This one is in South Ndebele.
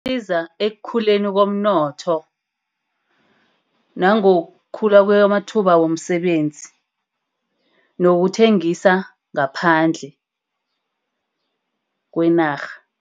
Isiza ekukhuleni komnotho. Nangokukhula kwemathuba womsebenzi. Nangokuthengisa ngaphandle kweenarha.